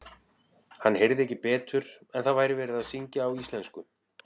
Hann heyrði ekki betur en að það væri verið að syngja á íslensku.